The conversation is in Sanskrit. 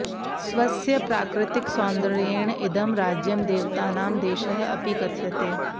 स्वस्य प्राकृतिकसौन्दर्येण इदं राज्यं देवतानां देशः अपि कथ्यते